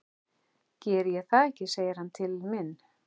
Geri ég það ekki, segir hann til mín.